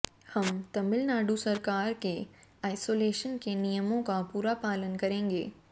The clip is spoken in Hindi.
हम तमिलनाडु सरकार के आइसोलेशन के नियमों का पूरा पालन करेंगे